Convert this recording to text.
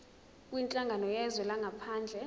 kwinhlangano yezwe langaphandle